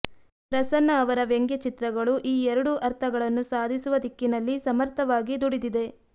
ಪ್ರಸನ್ನ ಅವರ ವ್ಯಂಗ್ಯಚಿತ್ರಗಳು ಈ ಎರಡೂ ಅರ್ಥಗಳನ್ನು ಸಾಧಿಸುವ ದಿಕ್ಕಿನಲ್ಲಿ ಸಮರ್ಥವಾಗಿ ದುಡಿದಿದೆ